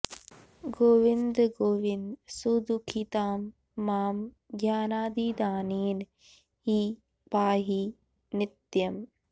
गोविन्द गोविन्द सुदुःखितां मां ज्ञानादिदानेन हि पाहि नित्यम्